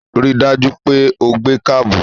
Ri dájú pé o gbé kábù!